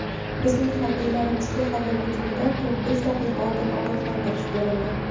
Bizning harbiylarimizga havo hujumidan to‘rt-besh daqiqa oldin ogohlantirish berildi.